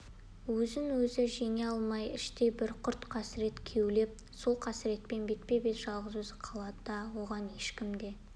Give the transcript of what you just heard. өзін-өзі жеңе алмай іштей бір құрт-қасірет кеулеп сол қасіретпен бетпе-бет жалғыз өзі қалады оған ешкім де